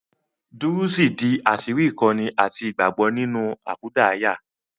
Dúrúsì di àṣírí ìkọ́ni àti ìgbàgbọ́ nínú àkúdàáyá